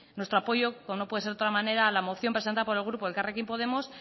nuestro apoyo como no puede ser de otra manera a la moción presentado por el grupo elkarrekin podemos